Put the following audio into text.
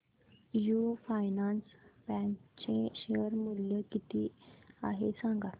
AU finance bank चे share मूल्य किती आहे सांगा